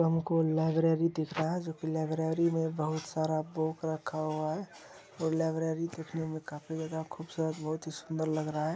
हमको लाइब्रेरी दिखरा है जोकि लिबरारी मे बोहोत सारा बूक रहा है ओर लिबरारी दिखने मे बोहोत ही सुंदर लग रहा है।